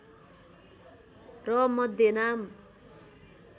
र मध्य नाम